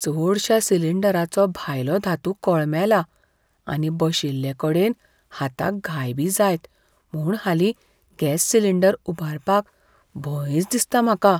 चडशा सिलिंडरांचो भायलो धातू कळमेला आनी बशिल्लेकडेन हाताक घाय बी जायत म्हूण हालीं गॅस सिलिंडर उबारपाक भंयच दिसता म्हाका.